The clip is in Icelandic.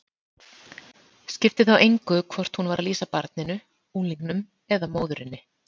Skipti þá engu hvort hún var að lýsa barninu, unglingnum eða móðurinni.